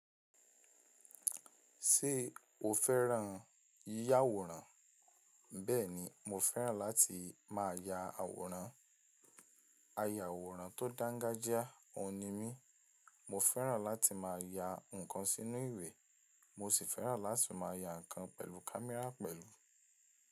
Ṣé o fẹ́ràn yíyà àwòrán? Bẹ́ẹ̀ni mo fẹ́ràn láti má ya àwòrán. A ya àwòrán tó dángájíá, òun ni mí. Mo fẹ́ràn láti má ya nǹkan sínú ìwẹ̀, mo sì fẹ́ràn láti má ya nǹkan pẹ̀lú kámẹ́rà pẹ̀lú.